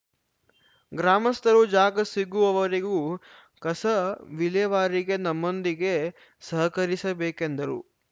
ಗ್ರಾಮಸ್ಥರು ಜಾಗ ಸಿಗುವವರೆಗೂ ಕಸ ವಿಲೇವಾರಿಗೆ ನಮ್ಮೊಂದಿಗೆ ಸಹಕರಿಸಬೇಕೆಂದರು